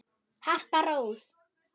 Harpa Rós.